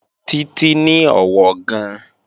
Títí ní ọ̀wọ̀ gan-an